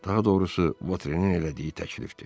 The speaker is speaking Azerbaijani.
Daha doğrusu Votrenin elədiyi təklifdir.